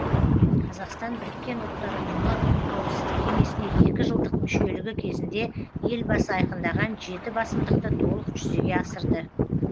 қазақстан біріккен ұлттар ұйымы қауіпсіздік кеңесіне екі жылдық мүшелігі кезінде елбасы айқындаған жеті басымдықты толық жүзеге асырды